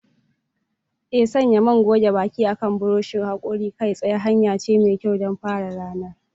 Ee, sanya man goge baki akan buroshin hakori kai tsaye hanya ce mai kyau don fara ranar.